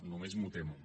només m’ho temo